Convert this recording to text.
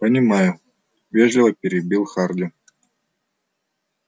понимаю вежливо перебил харди